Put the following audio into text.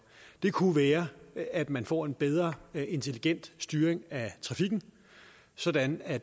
det kunne være at man får en bedre intelligent styring af trafikken sådan at